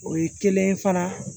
O ye kelen ye fana